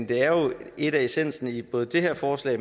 det her lidt af essensen i både det her forslag